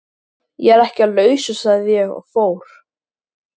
Ég er ekki á lausu sagði ég og fór.